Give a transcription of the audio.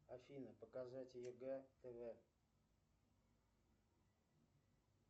афина показать егэ тв